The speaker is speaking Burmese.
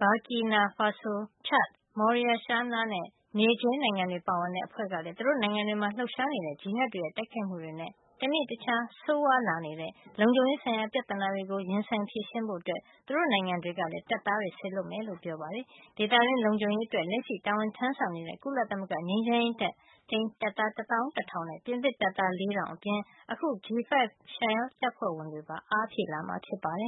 Burkina Faso ချတ်၊ Mauritania နဲ့ Niger နိုင်ငံတွေ ပါဝင်တဲ့ အဖွဲ့ ကလည်း သူတို့ နိုင်ငံတွေမှာ လှုပ်ရှား နေတဲ့ ဂျီဟတ်တွေရဲ့ တိုက်ခိုက် မှုတွေနဲ့ တနေ့တခြား ဆိုးဝါးလာနေတဲ့ လုံခြုံရေးဆိုင်ရာ ပြဿနာတွေကို ရင်ဆိုင် ဖြေရှင်းဖို့အတွက် သူတို့ နိုင်ငံတွေကလည်း တပ်သားတွေ စေလွှတ်မှာ ဖြစ်ကြောင်း ပြောပါတယ်။ ဒေသတွင်း လုံခြုံရေးအတွက် လက်ရှိ တာဝန်ထမ်းဆောင်နေတဲ့ ကုလသမဂ္ဂ ငြိမ်းချမ်းရေးထိန်း တပ်သား တသောင်း တထောင်နဲ့ ပြင်သစ်တပ်သား လေးထောင် အပြင် အခု G5 Sahel တပ်ဖွဲ့ဝင်တွေပါ အားဖြည့်လာမှာဖြစ်ပါတယ်